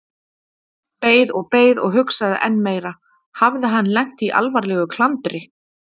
Beið og beið og hugsaði enn meira: Hafði hann lent í alvarlegu klandri?